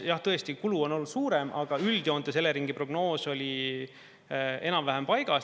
Jah, tõesti, kulu on olnud suurem, aga üldjoontes Eleringi prognoos oli enam-vähem paigas.